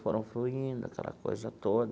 Foram fluindo aquela coisa toda.